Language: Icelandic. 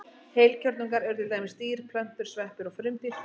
Heilkjörnungar eru til dæmis dýr, plöntur, sveppir og frumdýr.